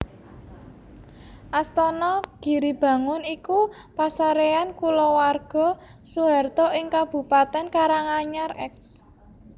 Astana Giribangun iku pasaréyan kulawarga Soeharto ing Kabupaten Karanganyar eks